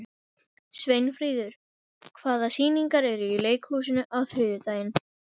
Sveinfríður, hvaða sýningar eru í leikhúsinu á þriðjudaginn?